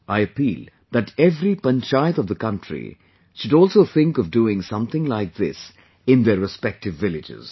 I appeal that every panchayat of the country should also think of doing something like this in their respective villages